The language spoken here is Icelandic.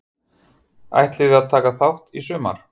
Ætliði að taka þátt í sumar?